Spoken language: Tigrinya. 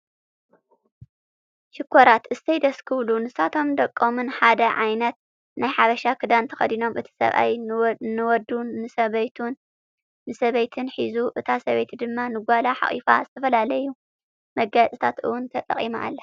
ሽኮራት እሰይ ደስ ክብሉ! ንሳቶም ደቆምን ሓደ ዓይነት ናይ ሓበሻ ክዳን ተኸዲኖም እቲ ሰብኣይ ንወዱ ንሰበይቲን ሒዙ እታ ሰበይቲ ድማ ንጓላ ሓቁፋ ዝተፈላለዩ መጋየፅታት እውን ተጠቂማ ኣላ።